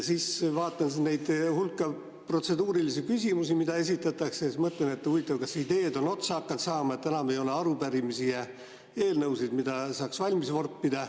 Siis vaatan seda protseduuriliste küsimuste hulka, mida esitatakse, ja mõtlen, et huvitav, kas ideed on otsa hakanud saama, et enam ei ole arupärimisi ja eelnõusid, mida saaks valmis vorpida.